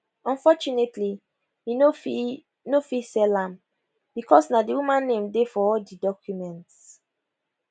unfortunately e no fit no fit sell am because na di woman name dey for all di documents